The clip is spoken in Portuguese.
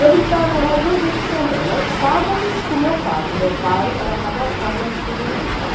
Eu visitava minha mãe duas vezes por semana, aos sábados com meu pai, que o meu pai era cadastrado na Auditoria Militar.